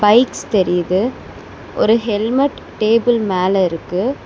Lights தெரியிது ஒரு helmet table மேல இருக்கு.